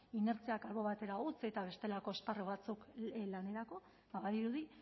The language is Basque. inertziak albo batera utzi eta bestelako esparru batzuk lanerako badirudi